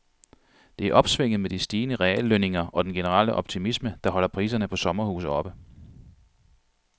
Det er opsvinget med de stigende reallønninger og den generelle optimisme, der holder priserne på sommerhuse oppe.